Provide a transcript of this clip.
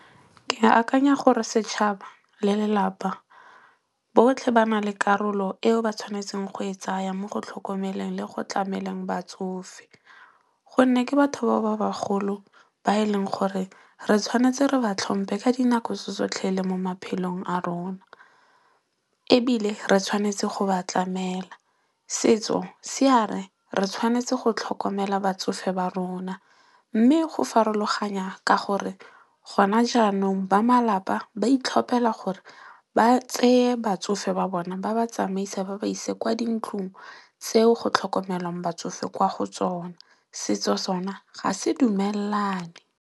Ke akanya gore setšhaba, le lelapa, botlhe ba na le karolo eo ba tshwanetseng go e tsaya mo go tlhokomeleng le go tlameleng batsofe. Gonne ke batho ba bagolo ba e leng gore re tshwanetse re ba tlhompe ka dinako tso tsotlhe le mo maphelong a rona. Ebile re tshwanetse go ba tlamela. Setso se ya re, re tshwanetse go tlhokomela batsofe ba rona. Mme go farologanya ka gore gona jaanong ba malapa ba itlhopela gore ba tseye batsofe ba bona ba ba tsamaise ba ba ise kwa dintlong tseo go tlhokomelwang batsofe kwa go tsona. Setso sona, ga se dumellane.